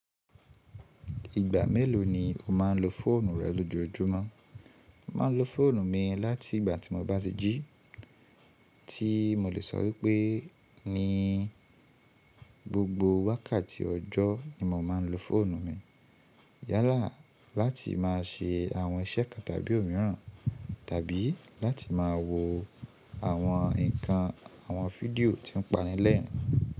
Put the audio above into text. Ìgbà mélòó ni o máa ń lo fóònù rẹ lójoojúmọ́? Mọ̀ máa ń lọ fóònù mí láti ìgbà tí mo bá ti jí, tí mò lè sọpe ní gbogbo wákàtí ọjọ́ ní mọ̀ máà ń lọ fóònù mi yálà láti máa ṣe àwọn iṣẹ́ kan tàbí òmíràn tàbí láti máa wo àwọn nǹkan, àwọn fídíò tí ó ń panilẹ́rìn-ín.